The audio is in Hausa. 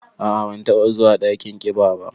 A'a, ban taba zuwa dakin ƙiba ba.